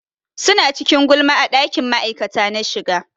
Suna cikin gulma a ɗakin ma'aikata na shiga.